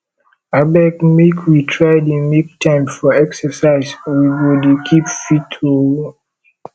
abeg make we try dey make time for exercise we go dey keep fit oo